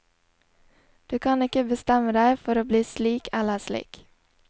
Du kan ikke bestemme deg for å bli slik eller slik.